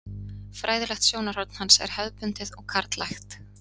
Fræðilegt sjónarhorn hans er hefðbundið og karllægt.